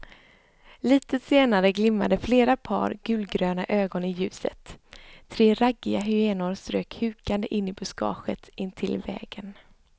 Litet senare glimmade flera par gulgröna ögon i ljuset, tre raggiga hyenor strök hukande in i buskaget intill vägen.